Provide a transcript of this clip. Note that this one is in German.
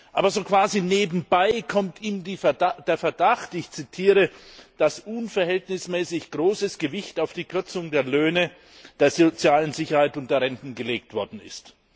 Aber so quasi nebenbei kommt ihm der Verdacht, ich zitiere dass unverhältnismäßig großes Gewicht auf die Kürzung der Löhne, der sozialen Sicherheit und der Renten gelegt worden ist.